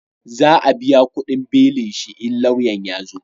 Za a biya kudin belin shi in lauya ya zo